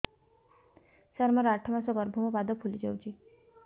ସାର ମୋର ଆଠ ମାସ ଗର୍ଭ ମୋ ପାଦ ଫୁଲିଯାଉଛି